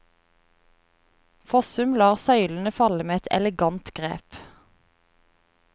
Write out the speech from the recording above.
Fossum lar søylen falle med et elegant grep.